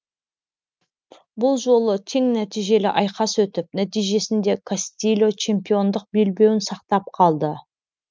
бұл жолы тең нәтижелі айқас өтіп нәтижесінде кастильо чемпиондық белбеуін сақтап қалды